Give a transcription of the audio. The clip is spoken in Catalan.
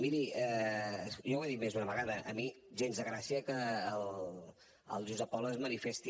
miri jo ho he dit més d’una vegada a mi gens de gràcia que el jusapol es manifesti